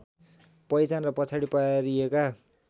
पहिचान र पछाडि पारिएका